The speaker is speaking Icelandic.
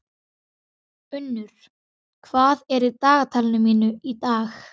Unnur, hvað er í dagatalinu mínu í dag?